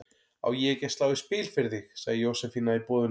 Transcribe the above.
Á ég ekki að slá í spil fyrir þig? sagði Jósefína í boðinu.